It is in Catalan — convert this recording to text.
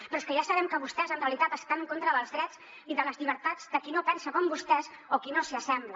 però és que ja sabem que vostès en realitat estan en contra dels drets i de les llibertats de qui no pensa com vostès o qui no s’hi assembla